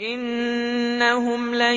إِنَّهُمْ لَن